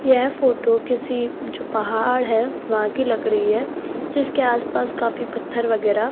यह फोटो किसी जो पहाड़ है वहां लग रही है इसके आसपास काफी पत्थर वगैरा --